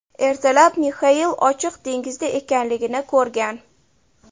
Ertalab Mixail ochiq dengizda ekanligini ko‘rgan.